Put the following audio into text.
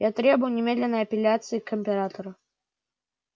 я требую немедленной апелляции к императору